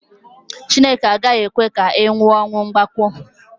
Chineke agaghị ekwe ka ị nwụọ ọnwụ mgbakwo